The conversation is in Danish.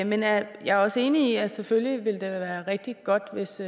men jeg er også enig i at selvfølgelig ville det da være rigtig godt hvis